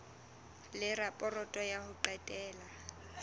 le raporoto ya ho qetela